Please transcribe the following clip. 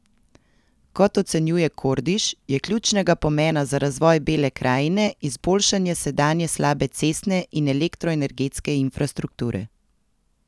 Kot ocenjuje Kordiš, je ključnega pomena za razvoj Bele krajine izboljšanje sedanje slabe cestne in elektroenergetske infrastrukture.